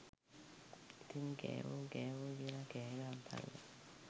ඉතින් කෑවො කෑවෝ කියල කෑ ගහපල්ලා.